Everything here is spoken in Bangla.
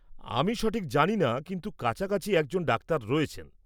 আমি সঠিক জানি না, কিন্তু কাছাকাছি একজন ডাক্তার রয়েছেন।